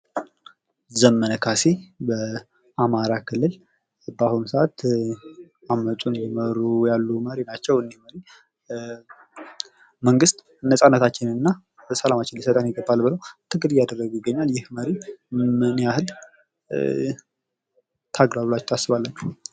ዘመነ ካሴ በአማራ ክልል በአሁኑ ሰዓት አመፁን እየመሩ ያሉ መሪ ናቸው። እኒህ መሪ መንግስት ነፃነታችንን እና ሰላማችንን ሊሰጠን ይገባል ብለው ትግል እያደረጉ ይገኛል። ይኽ መሪ ምን የኽል ታግሏል ብላችሁ ታስባላችሁ?